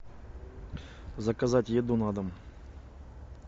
заказать еду на дом